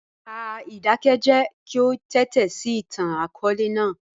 Pa idakẹjẹ ki o tẹtisi itan-akọọlẹ naa.